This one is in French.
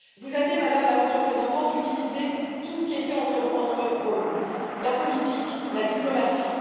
Vous avez, Madame la Haute représentante, utilisé tout ce qui était entre vos mains, la politique, la diplomatie.